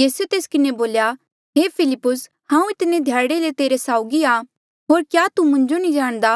यीसूए तेस किन्हें बोल्या हे फिलिप्पुस हांऊँ इतने ध्याड़े ले तुस्सा साउगी आ होर क्या तू मुंजो नी जाणदा